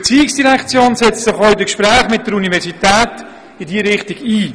Und die ERZ setzt sich auch in den Gesprächen mit der Universität in diese Richtung ein.